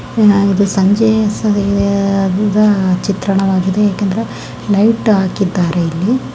ಚನ್ನಾಗಿದೆ ಸಂಜೆ ಸಮಯದ ಚಿತ್ರಣವಾಗಿದೆ ಯಾಕೆ ಅಂದರೆ ಲೈಟ್ ಹಾಕಿದ್ದಾರೆ ಇಲ್ಲಿ .